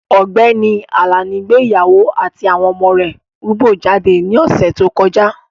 Ọ̀gbẹ́ni Àlàní gbé ìyàwó àti àwọn ọmọ rúbọ jáde ní ọ̀sè tó kọjá.